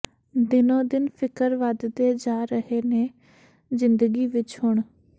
ਦਿਨੋ ਦਿਨ ਫਿਕਰ ਵਧਦੇ ਜਾ ਰਹੇ ਨੇ ਜਿੰਦਗੀ ਵਿਚ ਹੁਣ